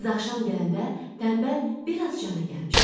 Qız axşam gələndə tənbəl biraz cana gəlmişdi.